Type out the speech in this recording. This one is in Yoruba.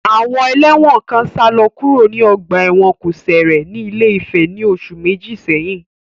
Àwọn ẹlẹ́wọ̀n kan sálọ kúrò ní ọgbà ẹ̀wọ̀n kòsẹ̀rẹ̀ ní Ilé-Ifẹ̀ ní oṣù méjì sẹ́yìn.